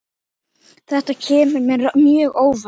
Þetta kemur mér mjög óvart.